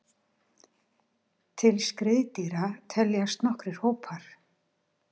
Til skriðdýra teljast nokkrir hópar.